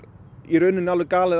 í rauninni alveg galið að